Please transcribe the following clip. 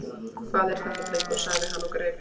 Hvað er þetta drengur? sagði hann og greip